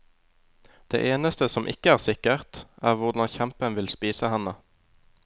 Det eneste som ikke er sikkert, er hvordan kjempen vil spise henne.